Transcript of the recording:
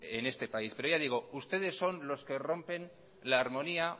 en este país pero ya digo ustedes son los que rompen la armonía